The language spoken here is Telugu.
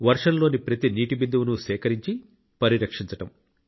వర్షంలోని ప్రతి నీటి బిందువును సేకరించి పరిరక్షించడం